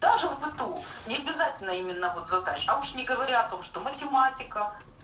даже в быту не обязательно именно вот задач а уж не говоря о том что математика